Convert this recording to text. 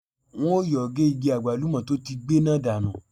Wọ́n yóò ge igi àgbálùmọ́ tó ti gbẹ náà dànù.